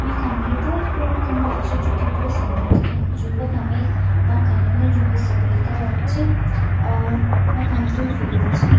यखम एक भोत बड़ु कमरा च जू की भोत सुन्दर दिखेणु च वखम एक पंखा लग्युं जू की सपेद कलर क च और वखम द्वि फ्रिज छन।